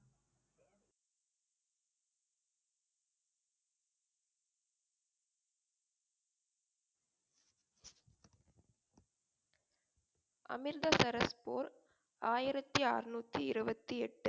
அமிர்தசரஸ் போர் ஆயிரத்தி ஆறுநூற்றி இருபத்து எட்டு